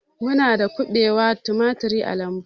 Muna da kubewa, tumaturi a lambu